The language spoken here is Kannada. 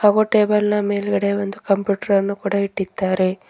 ಹಾಗು ಟೇಬಲ್ನ ಮೇಲ್ಗಡೆ ಒಂದು ಕಂಪ್ಯೂಟ್ರಾನ್ನು ಇಟ್ಡಿದ್ದಾರೆ.